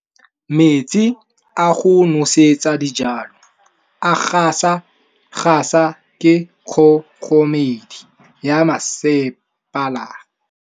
Metsi a go nosetsa dijalo a gasa gasa ke kgogomedi ya masepala.